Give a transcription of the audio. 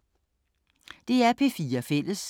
DR P4 Fælles